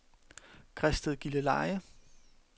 Græsted-Gilleleje